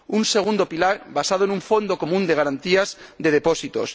Un segundo pilar basado en un fondo común de garantías de depósitos.